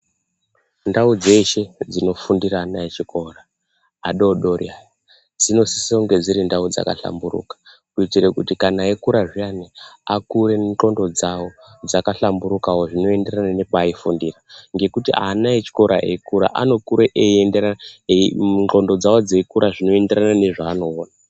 Ndau dzese dzinofundira ana echikora adodori aya dzinosisa kunge dziri ndau dzakahlamburuka kuitira kuti kana eikura zviyani akure ngonxo dzawo dzakahlamburuka zvinoenderana mepaaifundira zvichienderana Ngekuti ana echikora eikura anokura ngonxo dzawo dzeikura zvinoenderana mezvaanoona.